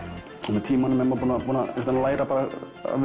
með tímanum er maður búinn að læra að